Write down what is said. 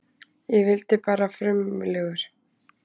Ég vildi bara frumlegur.